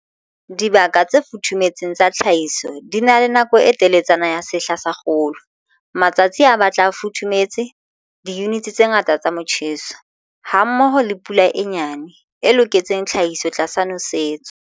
Dibaka tse futhumetseng tsa tlhahiso di na le nako e teletsana ya sehla sa kgolo, matsatsi a batla a futhumetse, diyunite tse ngata tsa motjheso, hammoho le pula e nyane, e loketseng tlhahiso tlasa nosetso.